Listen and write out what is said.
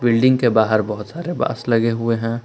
Building के बाहर बहोत सारे बांस लगे हुए है।